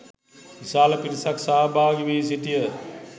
විශාල පිරිසක් සහභාගී වී සිටියහ